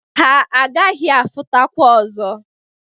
Ha aghaghị afụtakwa ọzọ.